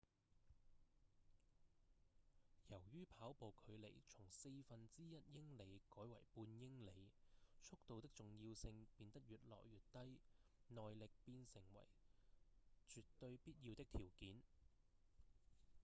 由於跑步距離從四分之一英里改為半英里速度的重要性變得越來越低耐力變成為絕對必要的條件